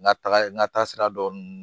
N ka taga n ka taa sira dɔn n